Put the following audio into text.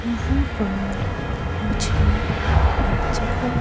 यहां पर मुझे एक जगह --